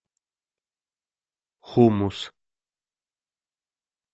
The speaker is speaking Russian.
хумус